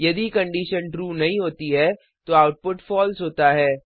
यदि condition true नहीं होती है तो आउटपुट फॉल्स होता है